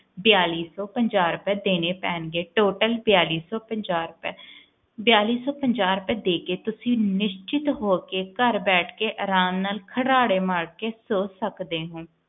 ਬੇਲੀ ਸੌ ਪੰਜਾਹ ਰੁਪਿਆ ਦੇਣੇ ਪੈਣਗੇ total ਬੇਲੀ ਸੌ ਪੰਜਾਹ ਰੁਪਿਆ ਬੇਲੀ ਸੌ ਪੰਜਾਹ ਰੁਪਿਆ ਦੇ ਕੇ ਤੁਸੀਂ ਨਿਸਚਿੰਤ ਹੋਕੇ ਘਰ ਬੈਠ ਕੇ ਅਰਾਮ ਨਾਲ ਘਰਾੜੇ ਮਾਰ ਕੇ ਸੋਂ ਸਕਦੇ ਹੋ